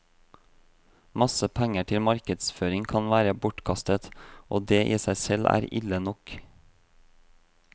Masse penger til markedsføring kan være bortkastet, og det i seg selv er ille nok.